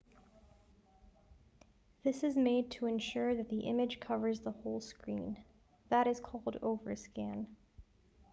this is made to ensure that the image covers the whole screen that is called overscan